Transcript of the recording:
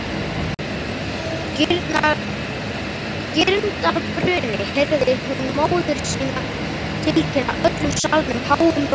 Girndarbruni, heyrði hún móður sína tilkynna öllum salnum háum rómi.